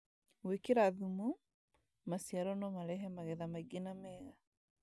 Gwĩkĩkra thumu , maciaro no marehe magetha maingĩ na mega